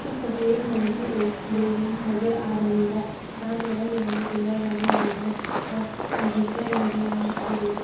इस तस्वीर में मुझे एक बिल्डिंग नजर आ रही है जहां पे रंग बिरंगे पिलर लगे हुए हैं और गिड़कियां भी मुझे यहां दिखाई दे रहे।